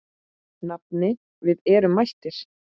Nafni, við erum mættir